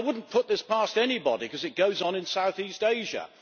I mean, I would not put this past anybody, because it goes on in south east Asia.